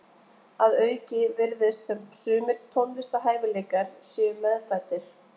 Að auki virðist sem sumir tónlistarhæfileikar séu meðfæddir.